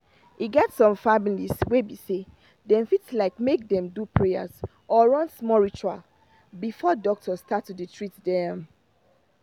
e get some families wey be say dem fit like make dem do prayers or run small ritual before doctor start to dey treat them.